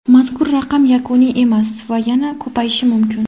Mazkur raqam yakuniy emas va yana ko‘payishi mumkin.